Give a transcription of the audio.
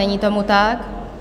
Není tomu tak?